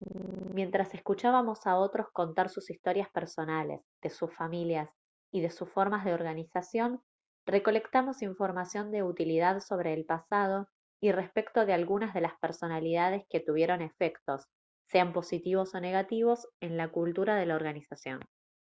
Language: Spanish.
mientras escuchábamos a otros contar sus historias personales de sus familias y de sus formas de organización recolectamos información de utilidad sobre el pasado y respecto de algunas de las personalidades que tuvieron efectos sean positivos o negativos en la cultura de la organización